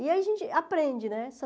E aí a gente aprende, né?